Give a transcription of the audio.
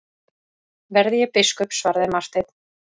Verði ég biskup, svaraði Marteinn.